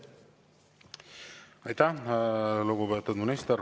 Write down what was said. Aitäh, lugupeetud minister!